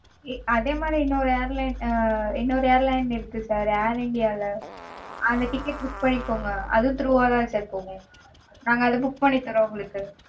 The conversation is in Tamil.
அதே மாதிரி இன்னொரு airline ஆஹ் இன்னொரு airline இருக்கு sir air india -ல. அந்த ticket book பண்ணிக்கோங்க. அதுவும் through -ஆதா sir போகும்